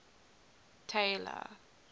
tailor